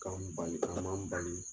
Ka an n bali, kalan man n bali.